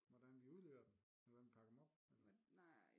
Hvordan vi udleverer dem eller hvordan vi pakker dem op